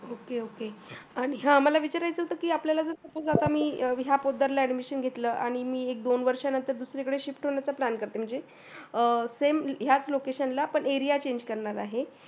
ok ok आणि हा मला विचाराचे होते की आपल्याला suppose ह्या पोतदार ला admission घेतलं आणि एक दोन वर्षांनंतर दुसरीकदे shift होण्याच plan करते. म्हणजे अं ते same ह्याच location ला area change करणार आहे.